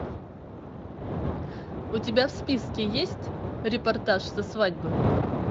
у тебя в списке есть репортаж со свадьбы